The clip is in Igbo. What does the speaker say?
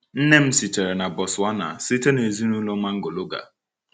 Nne m sitere na Botswana, site n’ezinụlọ Mangologa.